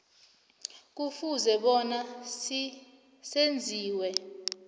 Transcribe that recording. kufuze bona senziwe